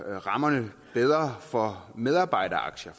rammerne bedre for medarbejderaktier